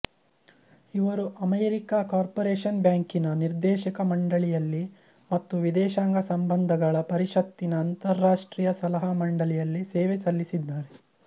ಇವರು America corporation ಬ್ಯಾಂಕಿನ ನಿರ್ದೇಶಕ ಮಂಡಳಿಯಲ್ಲಿ ಮತ್ತು ವಿದೇಶಾಂಗ ಸಂಬಂಧಗಳ ಪರಿಷತ್ತಿನ ಅಂತಾರಾಷ್ಟ್ರೀಯ ಸಲಹಾ ಮಂಡಳಿಯಲ್ಲಿ ಸೇವೆ ಸಲ್ಲಿಸಿದ್ದಾರೆ